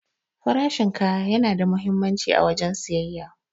Farashin kaya yana da muhimmanci a wajen siyayya.